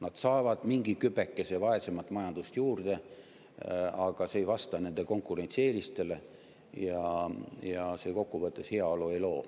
Nad saavad mingi kübekese vaesemat majandust juurde, aga see ei vasta nende konkurentsieelistele ja kokku võttes see heaolu ei loo.